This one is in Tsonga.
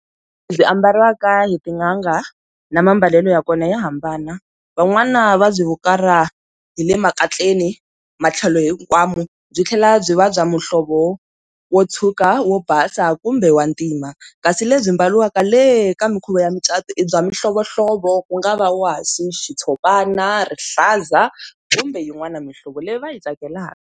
Lebyi ambariwaka hi tin'anga na mambalelo ya kona ya hambana van'wana va byi hukarha hi le makatleni matlhelo hinkwawo byi tlhela byi va bya muhlovo wo tshuka, wo basa kumbe wa ntima kasi lebyi mbariwaka le ka minkhuvo ya micato i bya mihlovohlovo ku nga va wasi, xitshopana, rihlaza kumbe yin'wana mihlovo leyi va yi tsakelaka.